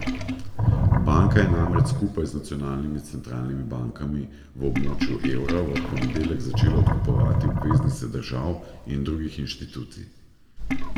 Banka je namreč skupaj z nacionalnimi centralnimi bankami v območju evra v ponedeljek začela odkupovati obveznice držav in drugih institucij.